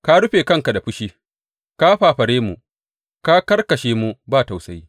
Ka rufe kanka da fushi, ka fafare mu; ka karkashe mu ba tausayi.